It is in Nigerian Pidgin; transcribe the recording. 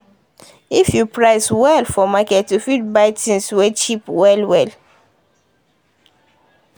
if you price well for market you fit buy things wey cheap well well.